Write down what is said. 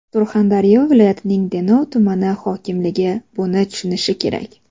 Surxondaryo viloyatining Denov tumani hokimligi buni tushunishi kerak.